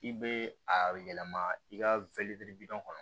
I bɛ a yɛlɛma i ka bilɔn kɔnɔ